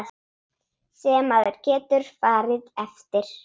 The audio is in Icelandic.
Sem maður getur farið eftir.